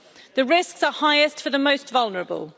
The risks are highest for the most vulnerable.